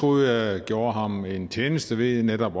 troede at jeg gjorde ham en tjeneste ved netop